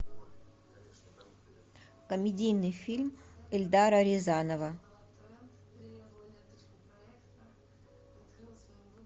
комедийный фильм эльдара рязанова